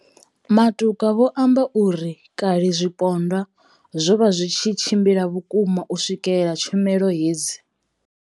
Matuka vho amba uri kale zwipondwa zwo vha zwi tshi tshimbila vhukuma u swikelela tshumelo hedzi.